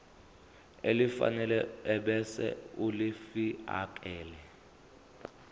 elifanele ebese ulifiakela